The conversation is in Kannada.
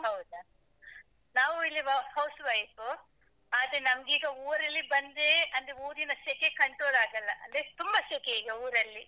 ಹೌದಾ, ನಾವು ಇಲ್ಲಿ house wife ಆದ್ರೆ ನಮ್ಗೆ ಈಗ ಊರಲ್ಲಿ ಬಂದ್ರೆ ಅದು ಊರಿನ ಸೆಕೆ control ಆಗಲ್ಲ ಅದೆ ತುಂಬ ಸೆಕೆ ಈಗ ಊರಲ್ಲಿ.